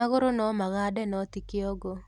Magũrũ nomagande noti kĩongo